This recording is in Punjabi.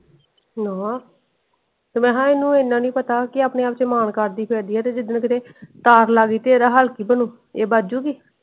ਨਾ ਤੇ ਮੈਂ ਕਹਿ ਇਹਨੂੰ ਇੰਨਾ ਨੀ ਪਤਾ ਕੇ ਆਪਣੇ ਆਪ ਤੇ ਮਾਨ ਕਰਦੀ ਪਾਈ ਆ, ਤੇ ਜਿੱਦਣ ਕੀਤੇ ਤਾਰ ਲੱਗ ਗਯੀ ਤੇ ਇਹਦਾ ਹਾਲ ਕਿ ਬਾਣੁ?